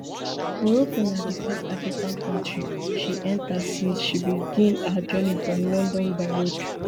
morocco na di first african kontri she enta since she begin her journey from london by road